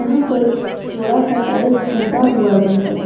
यहां पर थोड़ा सा टाइल्स टूटा हुआ भी है।